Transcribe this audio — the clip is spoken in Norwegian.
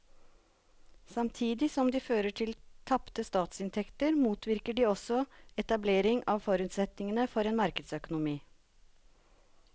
Samtidig som de fører til tapte statsinntekter motvirker de også etablering av forutsetningene for en markedsøkonomi.